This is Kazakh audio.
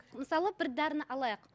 мысалы бір дәріні алайық